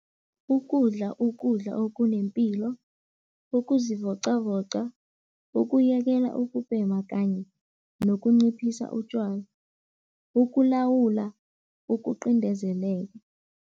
Ukudla ukudla okunempilo, ukuzivoqavoqa, ukuyekela ukubhema kanye nokunciphisa utjwala, ukulawula ukuqindezeleka.